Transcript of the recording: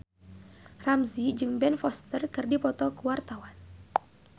Ramzy jeung Ben Foster keur dipoto ku wartawan